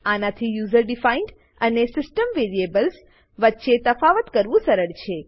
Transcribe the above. આનાથી user defined અને system variables વચ્ચે તફાવત કરવું સરળ છે